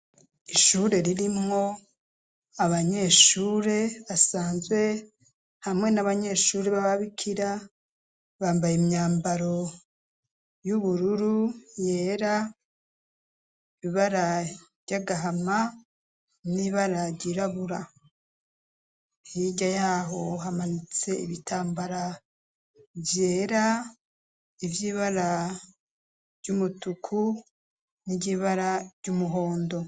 ishure ririmwo abanyeshure basanzwe hamwe n'abanyeshuri b'ababikira bambaye imyambaro y'ubururu yera ibara ryagahama n'ibara ryirabura hirya yaho hamanitse ibitambara byera iby'ibara ry'umutuku n'iryibara by'umuhondo